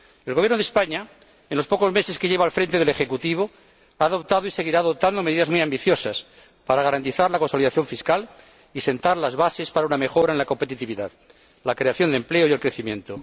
El Gobierno de España, en los pocos meses que lleva funcionando, ha adoptado y seguirá adoptando medidas muy ambiciosas para garantizar la consolidación fiscal y sentar las bases para una mejora en la competitividad, la creación de empleo y el crecimiento.